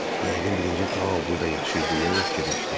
Yəqin birinci Tao burda yaşayır, deyə o fikirləşdi.